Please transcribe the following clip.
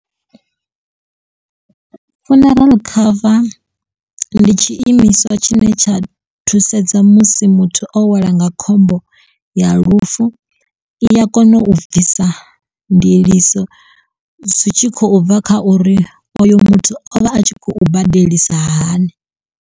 Funeral cover ndi tshiimiswa tshine tsha thusedza musi muthu o welwa nga khombo ya lufu i ya kona u bvisa ndiliso zwi tshi khou bva kha uri oyo muthu o vha a tshi khou badelisa hani.